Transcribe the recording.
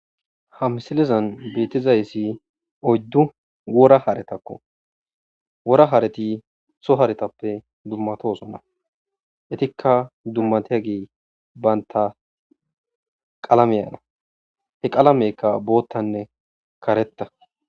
Ha msilezan beettizayssi oyddu wora haretakko. Wora hareti so haretappe dummatosonna. Etikka dummatiyage bantta qalamiyana he qalamekka boottanne karetta.